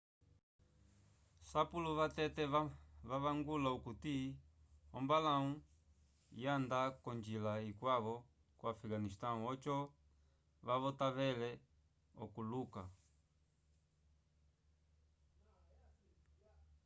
sapulo vatete vavangula okuti ombalau yanda ko njila ikwavo ko afegasnistão oco kavotavele okuuluka